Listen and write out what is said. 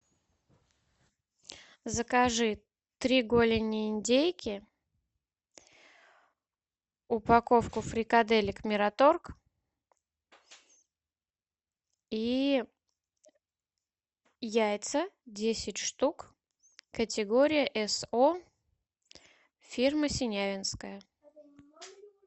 закажи три голени индейки упаковку фрикаделек мираторг и яйца десять штук категория со фирмы синявинское